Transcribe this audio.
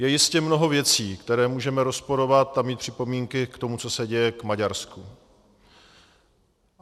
Je jistě mnoho věcí, které můžeme rozporovat, a mít připomínky k tomu, co se děje, k Maďarsku.